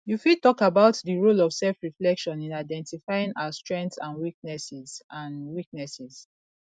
you fit talk about di role of selfreflection in identifying our strengths and weaknesses and weaknesses